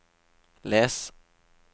les